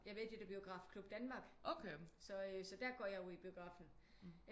Jeg er med i det der Biografklub Danmark så øh så der går jeg jo i biografen